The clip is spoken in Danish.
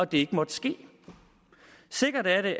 det ikke måtte ske sikkert er det